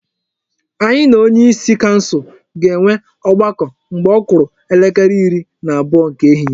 Anyị na onyeisi kansụl ga-enwe ọgbakọ mgbe ọ kụrụ elekere iri na abụọ nke ehihie.